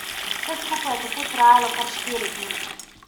Vse skupaj je tako trajalo kar štiri dni.